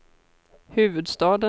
huvudstaden